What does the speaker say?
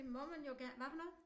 Det må man jo gerne hvad for noget